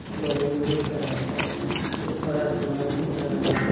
जमीन दिख रहा हैं ऊपर आसमान दिख रहा --